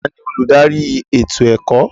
Taani olùdarí ètò ẹ̀kọ́?